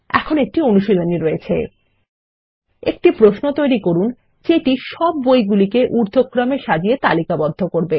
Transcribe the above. এখন একটি অনুশীলনী রয়েছে একটি প্রশ্ন তৈরী করুন যেটি সব বই গুলিকে ঊর্ধক্রমে সাজিয়ে তালিকাবদ্ধ করবে